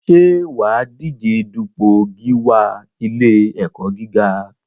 Ṣé wà á díje dupò gíwá ilé-ẹ̀kọ́ gíga?